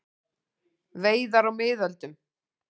Veiðar á miðöldum.